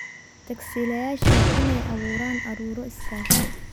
Tagsiilayaasha waa inay abuuraan ururo iskaashi.